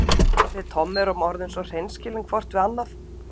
Við Tommi erum orðin svo hreinskilin hvort við annað.